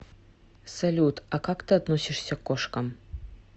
салют а как ты относишься к кошкам